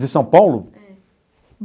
De São Paulo? É.